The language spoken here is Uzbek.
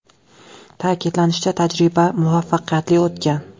Ta’kidlanishicha, tajriba muvaffaqiyatli o‘tgan.